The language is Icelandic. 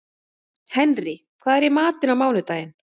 Henrý, hvað er í matinn á mánudaginn?